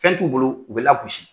Fɛn t'u bolo u bɛ lagosi.